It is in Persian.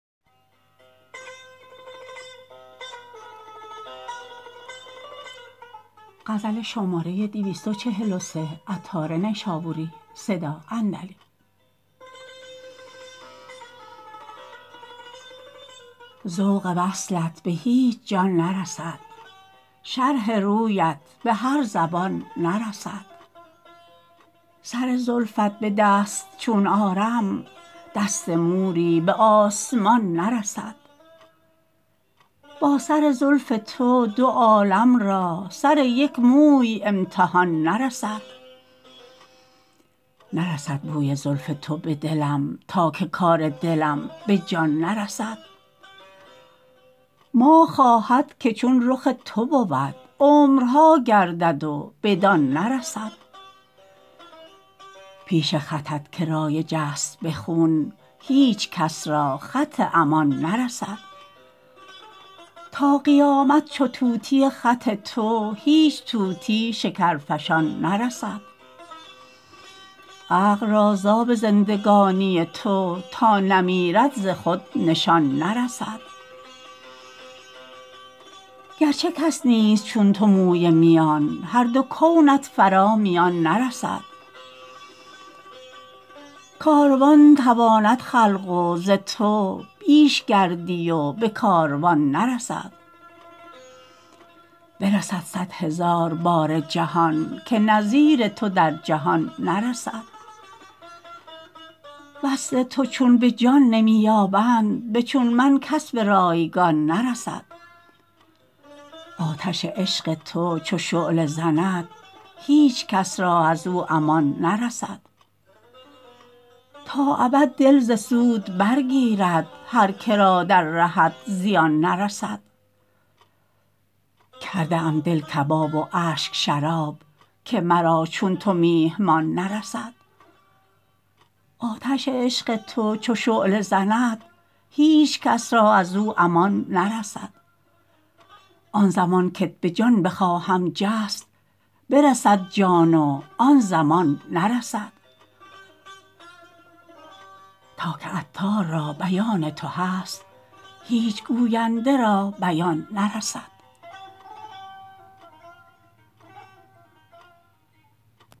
ذوق وصلت به هیچ جان نرسد شرح رویت به هر زبان نرسد سر زلفت به دست چون آرم دست موری به آسمان نرسد با سر زلف تو دو عالم را سر یک موی امتحان نرسد نرسد بوی زلف تو به دلم تا که کار دلم به جان نرسد ماه خواهد که چون رخ تو بود عمرها گردد و بدان نرسد پیش خطت که رایج است به خون هیچکس را خط امان نرسد تا قیامت چو طوطی خط تو هیچ طوطی شکرفشان نرسد عقل را زاب زندگانی تو تا نمیرد ز خود نشان نرسد گرچه کس نیست چون تو موی میان هر دو کونت فرا میان نرسد کاروان تواند خلق و ز تو بیش گردی به کاروان نرسد برسد صد هزار باره جهان که نظیر تو در جهان نرسد وصل تو چون به جان نمی یابند به چو من کس به رایگان نرسد آتش عشق تو چو شعله زند هیچ کس را از او امان نرسد تا ابد دل ز سود برگیرد هر که را در رهت زیان نرسد کرده ام دل کباب و اشک شراب که مرا چون تو میهمان نرسد آن زمان کت به جان بخواهم جست برسد جان و آن زمان نرسد تا که عطار را بیان تو هست هیچ گوینده را بیان نرسد